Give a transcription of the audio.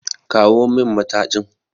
Kawo min matajin!